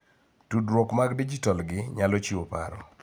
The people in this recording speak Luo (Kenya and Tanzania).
Tudruok mag dijitol gi nyalo chiwo paro